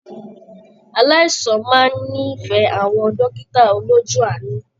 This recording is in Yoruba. Aláìsàn máa n n'ifẹ àwọn dókítà olójú aanu.